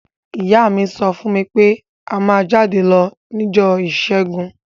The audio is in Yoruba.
Ìyá mi so fún mí pe a má jáde lo nijọ́ ìsẹ́gun